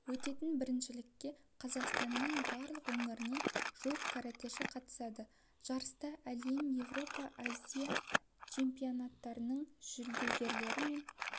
өтетін біріншілікке қазақстанның барлық өңірінен жуық каратэші қатысады жарыста әлем еуропа азия чемпионаттарының жүлдегерлері мен